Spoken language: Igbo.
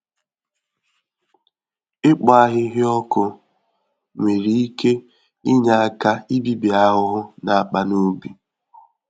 Ịkpọ ahịhịa ọkụ nwere ike inye aka ibibi ahụhụ n'akpa n'ubi